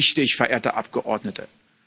Ja, das ist wichtig, verehrte Abgeordnete.